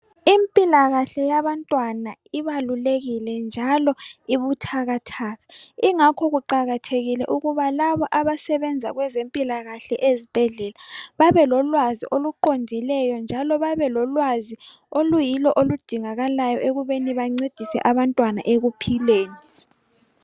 Impilakahle yabantwana ibalulekile njalo ibuthakathaka. Ingakho kuqakathekile ukuba laba abasebenza kwezempilakahle ezibhedlela babelolwazi oluqondileyo, njalo babelolwazi oluyilo oludingakalayo ekubeni bancedise abantwana ekuphileni.